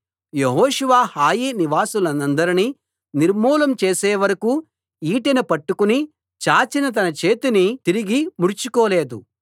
యెహోషువ హాయి నివాసులనందరినీ నిర్మూలం చేసేవరకూ ఈటెను పట్టుకుని చాచిన తన చేతిని తిరిగి ముడుచుకోలేదు